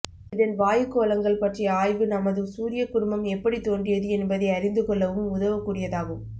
இதன் வாயுக் கோளங்கள் பற்றிய ஆய்வு நமது சூரிய குடும்பம் எப்படித் தோன்றியது என்பதை அறிந்து கொள்ளவும் உதவக் கூடியதாகும்